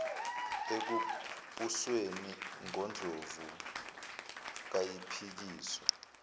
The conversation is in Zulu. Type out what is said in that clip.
ekubusweni ngondlovu kayiphikiswa